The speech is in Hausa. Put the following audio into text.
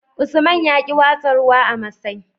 Usman yaƙi watsa ruwa a masai